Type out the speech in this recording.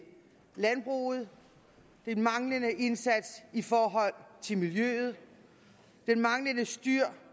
landbruget den manglende indsats i forhold til miljøet det manglende styr